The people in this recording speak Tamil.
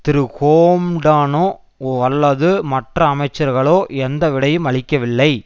திரு ஹோம்டானோ அல்லது மற்ற அமைச்சர்களோ எந்த விடையும் அளிக்கவில்லை